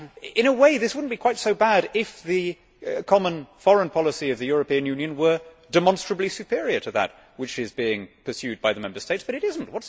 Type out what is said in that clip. In a way, this would not be quite so bad if the common foreign policy of the European Union were demonstrably superior to that which is being pursued by the Member States, but it is not.